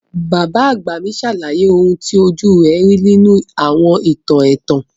Bàbá àgbà mi sàlàyé oun ti ojú rẹ̀ ri nínú àwọn ìtàn ẹ̀tàn.